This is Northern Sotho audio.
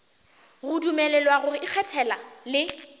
go dumelelwa go ikgethela le